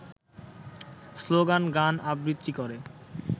স্লোগান-গান-আবৃত্তি করে